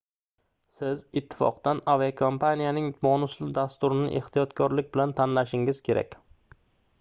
siz ittifoqdan aviakompaniyaning bonusli dasturini ehtiyotkorlik bilan tanlashingiz kerak